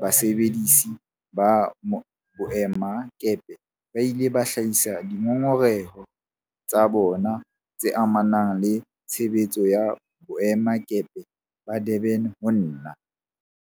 basebedisi ba boemakepe ba ile ba hlahisa dingongoreho tsa bona tse amanang le tshebetso ya boemakepe ba Durban ho nna.